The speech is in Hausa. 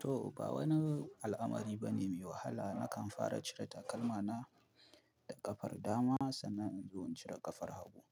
To ba wani al'amari bane mai wahala nakan fara cire takalma na da ƙafar dama sannan in zo in cire ƙafar hagu,